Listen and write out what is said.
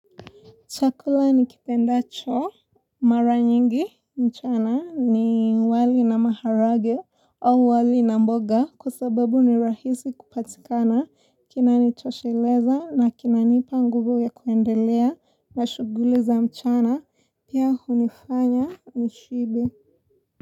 Chakula nikipendacho mara nyingi mchana ni wali na maharagwe au wali na mboga kwa sababu ni rahisi kupatikana kinanitosheleza na kinaniipa nguvu ya kuendelea na shughuli za mchana pia hunifanya nishibe.